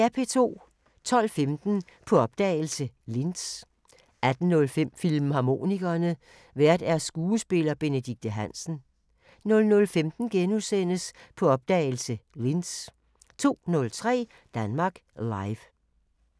12:15: På opdagelse – Linz 18:05: Filmharmonikerne: Vært skuespiller Benedikte Hansen 00:15: På opdagelse – Linz * 02:03: Danmark Live